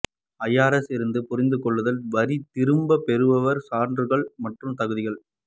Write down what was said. IRS இருந்து புரிந்து கொள்ளுதல் வரி திரும்ப பெறுபவர் சான்றுகள் மற்றும் தகுதிகள்